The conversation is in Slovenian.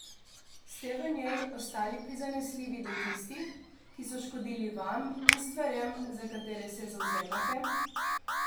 Ste v njej ostali prizanesljivi do tistih, ki so škodili vam in stvarem, za katere se zavzemate?